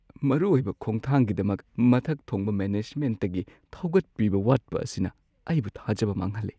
ꯃꯔꯨ ꯑꯣꯏꯕ ꯈꯣꯡꯊꯥꯡꯒꯤꯗꯃꯛ ꯃꯊꯛ ꯊꯣꯡꯕ ꯃꯦꯅꯦꯖꯃꯦꯟꯠꯇꯒꯤ ꯊꯧꯒꯠꯄꯤꯕ ꯋꯥꯠꯄ ꯑꯁꯤꯅ ꯑꯩꯕꯨ ꯊꯥꯖꯕ ꯃꯥꯡꯍꯜꯂꯦ꯫